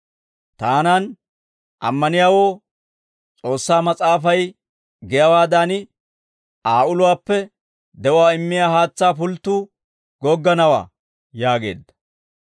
Taanan ammaniyaawoo, S'oossaa Mas'aafay giyaawaadan, Aa uluwaappe de'uwaa immiyaa haatsaa pulttuu gogganawaa» yaageedda.